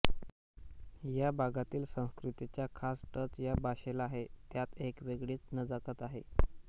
या भागातील संस्कृतीचा खास टच या भाषेला आहे त्यात एक वेगळीच नजाकत आहे